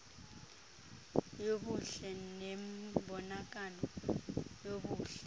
yobuhle nembonakalo yobuhle